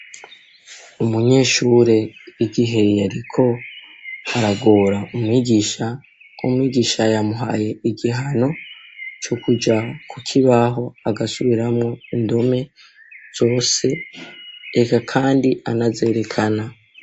Umunyeshure, igihe yariko aragora umwigisha, umwigisha yamuhaye igihano co kuja ku kibaho agasubiramwo indome zose, eka kandi anazerekana.